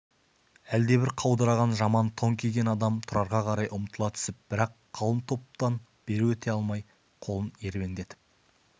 әлдебір қаудыраған жаман тон киген адам тұрарға қарай ұмтыла түсіп бірақ қалың топтан бері өте алмай қолын ербеңдетіп